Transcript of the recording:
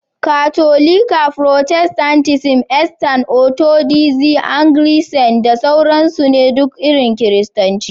Katolika, protestantism, Eastern Orthodoxy, Anglicanism da sauran su ne duk irin Kiristanci.